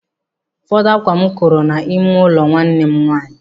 Ụfọdụ ákwá m koro n'ime ụlọ nwanne m nwaanyị.